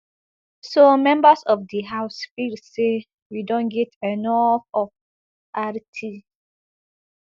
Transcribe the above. so members of di house feel say we don get enof of rt